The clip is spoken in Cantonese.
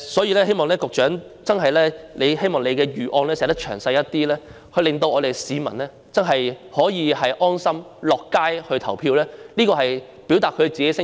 我希望局長的預案能詳細一點，令市民能安心上街投票，表達自己的聲音。